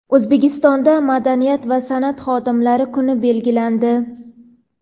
O‘zbekistonda madaniyat va san’at xodimlari kuni belgilandi.